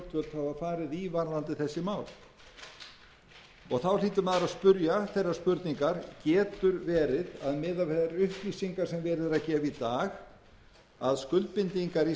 farið í varðandi þessi mál þá hlýtur maður að spyrja þeirrar spurningar getur verið að miðað við þær upplýsingar sem verið er að gefa í dag að skuldbindingar íslands